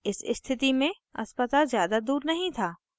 इस स्थिति में अस्पताल ज़्यादा दूर नहीं था